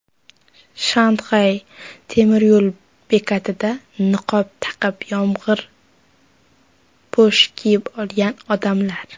Shanxay temiryo‘l bekatida niqob taqib, yomg‘irpo‘sh kiyib olgan odamlar.